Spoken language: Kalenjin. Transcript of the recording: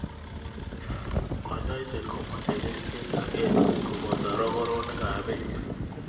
Kanyoiset komeche kerichek ak engset koboto rokoronik ab bek.